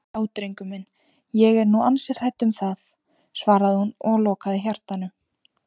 Já drengur minn, ég er nú ansi hrædd um það, svaraði hún og lokaði hjartanu.